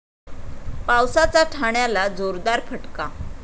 पावसाचा ठाण्याला जोरदार फटका